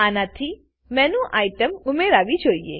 આનાથી menu item menu item ઉમેરાવી જોઈએ